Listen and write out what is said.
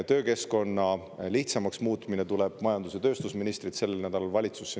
Töökeskkonna lihtsamaks muutmine tuleb majandus- ja tööstusministrilt sellel nädalal valitsusse.